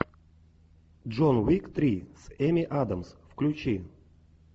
джон уик три с эми адамс включи